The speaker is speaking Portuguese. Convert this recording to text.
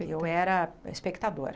Eu era espectadora.